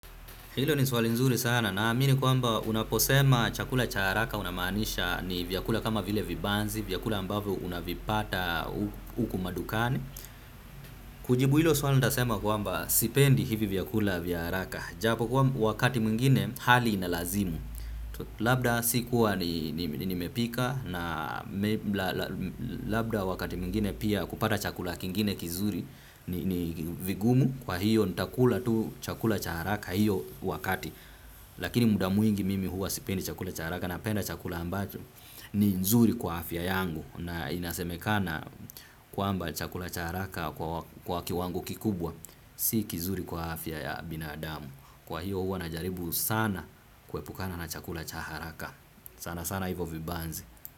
Hilo ni swali nzuri sana naamini kwamba unaposema chakula cha haraka unamaanisha ni vyakula kama vile vibanzi, vyakula ambavyo unavipata huku madukani. Kujibu hilo swali nitasema kwamba sipendi hivi vyakula vya haraka. Ijapokuwa wakati mwingine hali inalazimu. Labda sikuwa nimepika na labda wakati mwingine pia kupata chakula kingine kizuri ni vigumu kwa hiyo nitakula tu chakula cha haraka hiyo wakati. Lakini muda mwingi mimi huwa sipendi chakula cha haraka napenda chakula ambacho ni nzuri kwa afya yangu na inasemekana kwamba chakula cha haraka kwa kiwango kikubwa si kizuri kwa afya ya binadamu. Kwa hiyo huwa najaribu sana kuepukana na chakula cha haraka. Sana sana hivyo vibanzi.